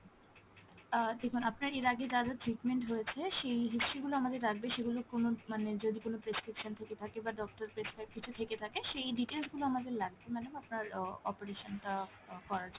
আহ দেখুন আপনার এর আগে যা যা treatment হয়েছে সেই history গুলো আমাদের লাগবে, সেগুলো কোনো মানে যদি কোনো prescription থেকে থাকে বা doctor prescribe কিছু থেকে থাকে সেই details গুলো আমাদের লাগবে madam আপনার আহ operation টা আহ করার জন্য,